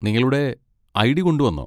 നിങ്ങളുടെ ഐ.ഡി. കൊണ്ടുവന്നോ?